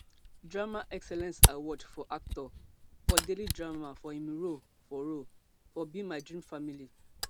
drama excellence award for actor for daily drama for im role for role for be my dream family